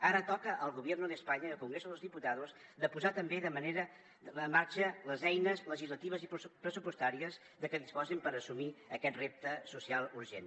ara toca al gobierno de españa i al congreso de los diputados de posar també en marxa les eines legislatives i pressupostàries de què disposin per assumir aquest repte social urgent